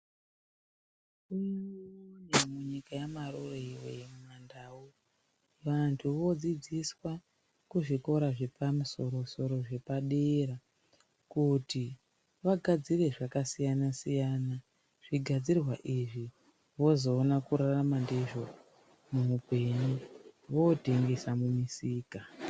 Munyika yamarure iwe yemandau vanhu vodziidziswa kuzvikora zvepamusosro zvepadera kuti vagadzire zvakasiyanasiyana zvigadzirwa izvi vozoona kurarama ndizvo vootengesa mumisika.